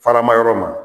Faramayɔrɔ ma